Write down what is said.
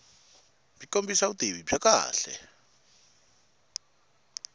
byi kombisa vutivi byo kahle